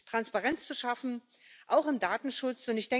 Transparenz zu schaffen, auch im Datenschutz.